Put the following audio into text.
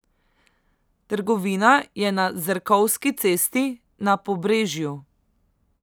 Trgovina je na Zrkovski cesti na Pobrežju.